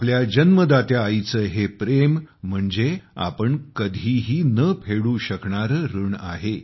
आपल्या जन्मदात्या आईचे हे प्रेम म्हणजे आपण कधीही न फेडू शकणारे ऋण आहे